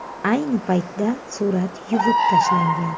Ayni paytda surat yuvib tashlangan.